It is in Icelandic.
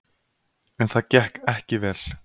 En það gekk ekki vel.